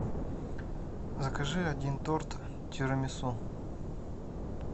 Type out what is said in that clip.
закажи один торт тирамису